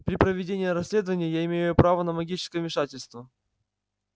при проведении расследования я имею право на магическое вмешательство